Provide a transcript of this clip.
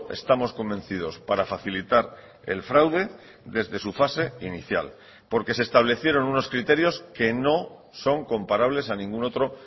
estamos convencidos para facilitar el fraude desde su fase inicial porque se establecieron unos criterios que no son comparables a ningún otro